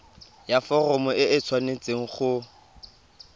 ya foromo e tshwanetse go